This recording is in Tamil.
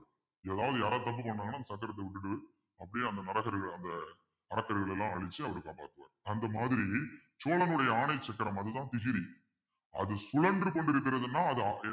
ஏதாவது யாராவது தப்பு பண்ணாங்கன்னா அந்த விட்டுட்டு அப்படியே அந்த அவர் காப்பாத்துவாரு அந்த மாதிரி சோழனுடைய ஆணை சக்கரம் அதுதான் திகிரி அது சுழன்று கொண்டிருக்கிறதுன்னா